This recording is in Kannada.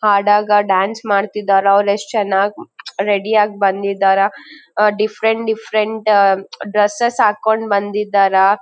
ಹಾಡಾಗ ಡಾನ್ಸ್ ಮಾಡ್ತಿದಾರಾ ಅವ್ರು ಎಸ್ಟ್ ಚೆನ್ನಾಗಿ ರೆಡಿ ಆಗಿ ಬಂದಿದ್ದರ ಡಿಫರೆಂಟ್ ಡಿಫರೆಂಟ್ ಡ್ರೆಸ್ಸೆಸ್ ಹಾಕೊಂಡ್ ಬಂದಿದ್ದಾರಾ .